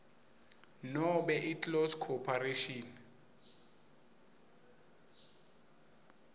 nobe iclose corporation